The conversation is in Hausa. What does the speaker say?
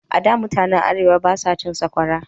A da, mutanen Arewa ba sa cin saƙwara.